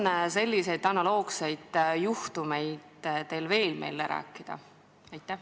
Kas teil on veel analoogseid juhtumeid meile rääkida?